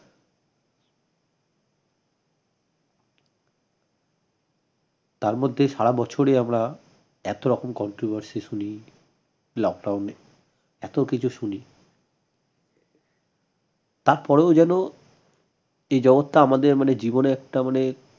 তার মধ্যে সারা বছরে আমরা এত রকম controversy শুনি lockdown এ এত কিছু শুনি তার পরেও যেন এই জগৎটা আমাদের মানে জীবনের একটা মানে